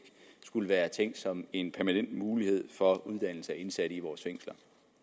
skulle være tænkt som en permanent mulighed for uddannelse af indsatte i vores fængsler